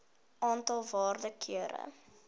aantal waarde kere